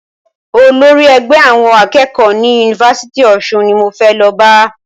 Olórí ẹgbẹ́ àwọn akẹ́kọ̀ọ́ ni Yunifásítì Ọ̀ṣun ni mo fẹ́ lọ bá.